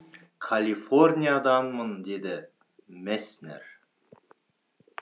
калифорнияданмын деді месснер